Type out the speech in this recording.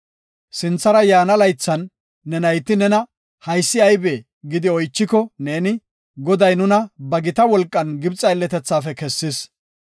Sinthara yaana laythatan ne nayti nena, ‘Haysi aybee?’ gidi oychiko neeni, ‘Goday nuna ba gita wolqan Gibxe aylletethaafe kessis.